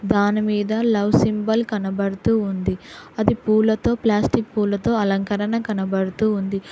దానిమీద love symbol కనబడుతూ ఉంది అది పూలతో ప్లాస్టిక్ పూలతో అలంకరణ కనబడుతూ ఉంది.